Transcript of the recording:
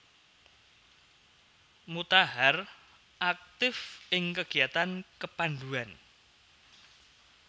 Mutahar aktif ing kegiatan kepanduan